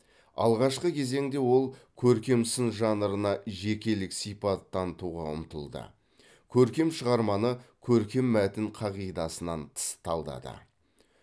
алғашқы кезеңде ол көркем сын жанрына жекелік сипат танытуға ұмтылды көркем шығарманы көркем мәтін қағидасынан тыс талдады